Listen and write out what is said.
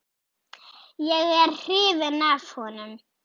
Er ég hrifinn af honum?